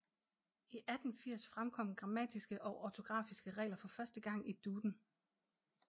I 1880 fremkom grammatiske og ortografiske regler for første gang i Duden